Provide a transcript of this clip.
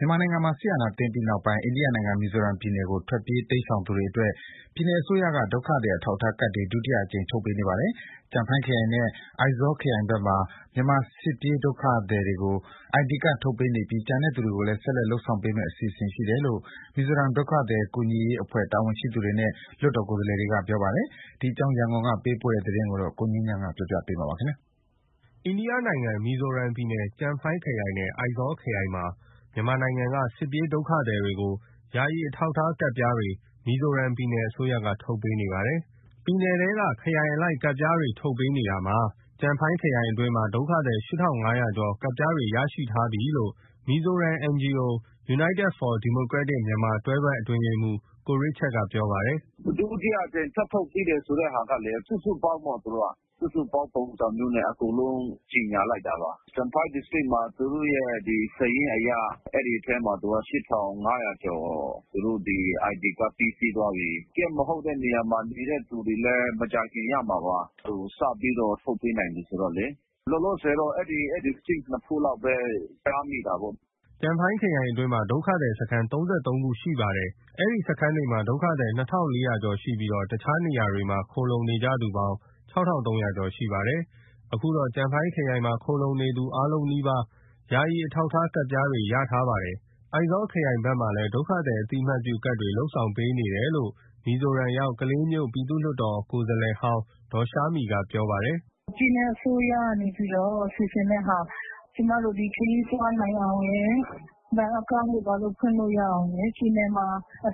မြန်မာနိုင်ငံမှာ စစ်အာဏာသိမ်းပြီးနောက်ပိုင်း အိန္ဒိယနိုင်ငံ မီဇိုရမ်ပြည်နယ်ကို ထွက်ပြေးတိမ်းရှောင်သူ တွေအတွက် ပြည်နယ်အစိုးရက ဒုက္ခသည် အထောက်အထား ကဒ်တွေ ဒုတိယအကြိမ် ထုတ်ပေးနေ ပါတယ်။ ကျန်ဖိုင်းခရိုင်နဲ့အိုက်ဇောလ်ခရိုင်ဘက်မှာ မြန်မာစစ်ပြေးဒုက္ခသည်ကို ID ကဒ် ထုတ်ပေးနေ ပြီး ကျန်တဲ့သူတွေကိုလည်း ဆက်လက်ထုတ်ပေးသွားဖို့ အစီအစဉ်ရှိတယ်လို့ မီဇိုရမ်ဒုက္ခသည် ကူညီရေးအဖွဲ့တာဝန်ရှိသူတွေနဲ့ လွှတ်တော် ကိုယ်စားလှယ်တွေက ပြောပါတယ်။ ဒီအကြောင်း ရန်ကုန်ကပေးပို့လာတဲ့သတင်းကို ကိုငြိမ်းချမ်းက တင်ပြပေးထားပါတယ်။ အိန္ဒိယနိုင်ငံ မီဇိုရမ်ပြည်နယ် ကျန်ဖိုင်းခရိုင်နဲ့ အိုက်ဇောလ်ခရိုင်မှာ မြန်မာနိုင်ငံက စစ်ပြေးဒုက္ခသည် တွေကို ယာယီအထောက်အထားကဒ်ပြားတွေ မီဇိုရမ်ပြည်နယ်အစိုးရက ထုတ်ပေးနေပါတယ်။ ပြည်နယ်ထဲက ခရိုင်အလိုက် ကဒ်ပြားတွေ ထုတ်ပေးနေတာမှာ ကျန်ဖိုင်းခရိုင်အတွင်းမှာ ဒုက္ခသည် ၈,၅၀၀ ကျော် ကဒ်ပြားတွေ ရရှိထားပြီလို့ မီဇိုရမ် NGO United for Democratic Myanmar တွဲဖက် အတွင်းရေးမှူး ကိုရစ်ချတ်က ပြောပါတယ်။ “ဒုတိယအကြိမ ်ထပ်ထုတ်ပေးတယ်ဆိုတဲ့ဟာကလည်း စုစုပေါင်းပေါ့ သူတို့က။ စုစုပေါင်း ပုံစံမျိုးနဲ့ အကုန်လုံးကြေညာလိုက်တာပါ။ ကျန်ဖိုင်း District မှာ သူတို့ရဲ့စာရင်းအရ အဲဒီအထဲမှာ(၈,၅၀၀)ကျော် သူတို့ ID ကဒ်ပေးပြီးသွားပြီ။ Camp နေရာမှာမဟုတ်တဲ့နေတဲ့သူတွေလည်း မကြာခင်ရမှာပါ။ အခု စပြီးတော့ ထုတ်ပေးနိုင်ပြီဆိုတော့လေ။ လောလောဆယ် အဲဒီ District နှစ်ခုလောက်ပဲ ကြားမိတာပေါ့။” ကျန်ဖိုင်းခရိုင်အတွင်း ဒုက္ခသည်စခန်း (၃၃) ခုရှိပါတယ်။ အဆိုပါ စခန်းတွေမှာ ဒုက္ခသည် ၂,၄၀၀ ကျော် ရှိပြီးတော့ တခြားနေရာတွေမှာ ခိုလှုံနေကြသူပေါင်း ၆,၃၀၀ ကျော်ရှိနေပါတယ်။ အခုတော့ ကျန်ဖိုင်းခရိုင်မှာ ခိုလှုံနေသူ အားလုံးနီးပါး ယာယီအထောက်အထားကဒ်ပြားတွေ ရရှိထားကြပါတယ်။ အိုက်ဇောလ်ခရိုင်ဘက်မှာလည်း ဒုက္ခသည်အသိမှတ်ပြုကဒ် လုပ်ပေးနေတယ်လို့ မီဇိုရမ်ရောက် ကလေးမြို့ ပြည်သူ့လွှတ်တော် ကိုယ်စားလှယ်ဟောင်း ဒေါ်ရှားမီးကပြောပါတယ်။ “ပြည်နယ်အစိုးရကစီစဉ်တဲ့ဟာ။ ကျမတို့ ခရီးသွားနိုင်အောင်ရယ်။ ဘဏ်အကောင့်တွေ ဘာတွေ ဖွင့်လို့ ရအောင်။ ပြည်နယ်မှာ